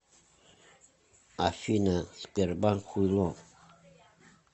афина сбербанк хуйло